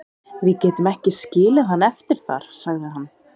Við getum ekki skilið hann eftir þar, sagði hann.